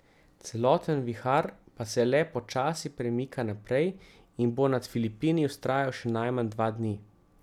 Celoten vihar pa se le počasi premika naprej in bo nad Filipini vztrajal še najmanj dva dni.